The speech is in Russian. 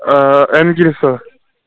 энгельса